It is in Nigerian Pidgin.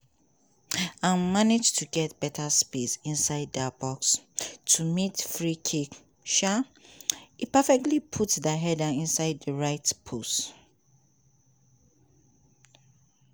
im manage to get beta space inside di box to meet di free kick um e perfectly put di header inside di right post.